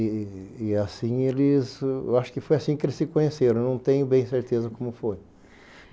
E e assim eles... Eu acho que foi assim que eles se conheceram, não tenho bem certeza como foi.